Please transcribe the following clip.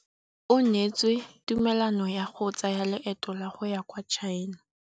O neetswe tumalanô ya go tsaya loetô la go ya kwa China.